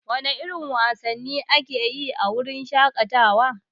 Wana irin wasanni ake yi a wuraren shaƙatawa?